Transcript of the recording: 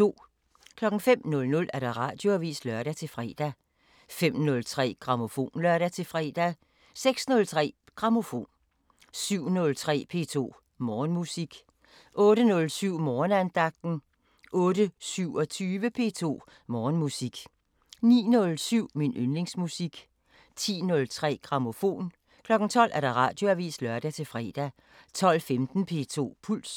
05:00: Radioavisen (lør-fre) 05:03: Grammofon (lør-fre) 06:03: Grammofon 07:03: P2 Morgenmusik 08:07: Morgenandagten 08:27: P2 Morgenmusik 09:07: Min yndlingsmusik 10:03: Grammofon 12:00: Radioavisen (lør-fre) 12:15: P2 Puls